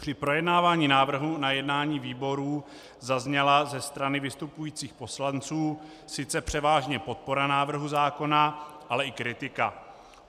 Při projednávání návrhu na jednání výborů zazněla ze strany vystupujících poslanců sice převážně podpora návrhu zákona, ale i kritika.